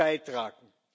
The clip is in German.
beitragen.